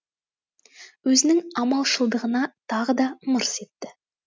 өзінің амалшылдығына тағы да мырс етті